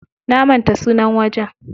Na manta sunan wajen.